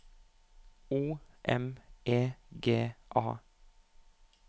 O M E G A